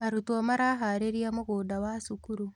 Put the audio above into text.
Arutwo maraharĩrĩa mũgunda wa cukuru.